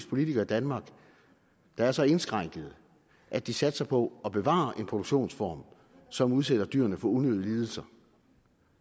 politikere i danmark der er så indskrænkede at de satser på at bevare en produktionsform som udsætter dyrene for unødige lidelser